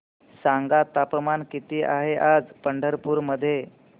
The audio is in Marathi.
सांगा तापमान किती आहे आज पंढरपूर मध्ये